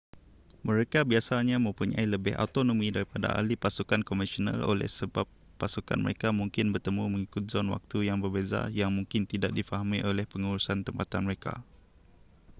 mereka biasanya mempunyai lebih autonomi daripada ahli pasukan konvensional oleh sebab pasukan mereka mungkin bertemu mengikut zon waktu yang berbeza yang mungkin tidak difahami oleh pengurusan tempatan mereka